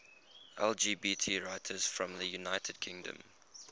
lgbt writers from the united kingdom